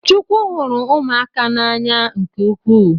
Chukwu hụrụ ụmụaka n’anya nke ukwu